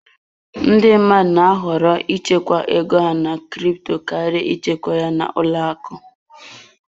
Ndị mmadụ na-ahọrọ ịchekwa ego ha na crypto karịa ịchekwa ya n'ụlọ akụ.